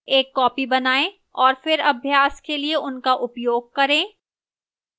एक copy बनाएं और फिर अभ्यास के लिए उनका उपयोग करें